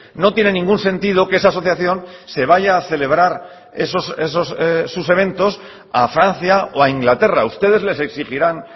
no tiene ningún sentido que esa asociación se vaya a celebrar sus eventos a francia o a inglaterra ustedes les exigirán